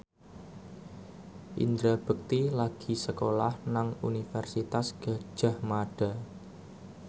Indra Bekti lagi sekolah nang Universitas Gadjah Mada